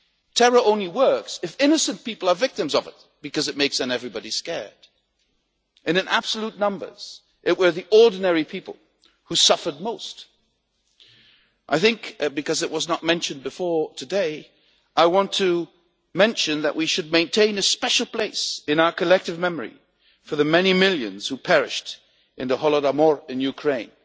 Terror only works if innocent people are victims of it, because it makes everybody scared, and in absolute numbers it was the ordinary people who suffered most. I think because it was not mentioned before today, I want to mention that we should maintain a special place in our collective memory for the many millions who perished in the Holodomor in Ukraine.